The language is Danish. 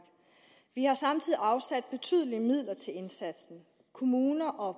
vi har samtidig afsat betydelige midler til indsatsen kommuner og